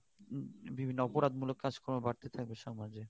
উম বিভিন্ন অপরাধ মুলক কাজ কর্ম বাড়তেই থাকবে সমাজে